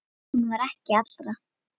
Hún var ekki allra.